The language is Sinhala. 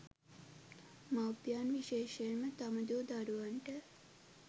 මව්පියන් විශේෂයෙන්ම තම දූ දරුවන්ට